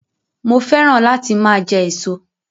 Mo féràn láti máa jẹ èso